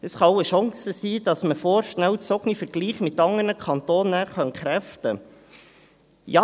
Sie kann auch eine Chance sein, sodass man vorschnell gezogene Vergleiche mit anderen Kantonen danach entkräften kann.